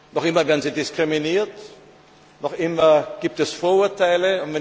Noch immer werden sie diskriminiert, noch immer gibt es Vorurteile.